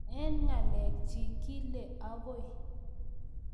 Eng ngalechik, kile akoi